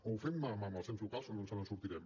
o ho fem mà a mà amb els ens locals o no ens en sortirem